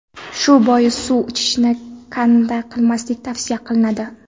Shu bois suv ichishni kanda qilmaslik tavsiya qilinadi.